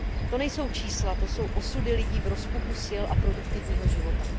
To nejsou čísla, to jsou osudy lidí v rozpuku sil a produktivního života.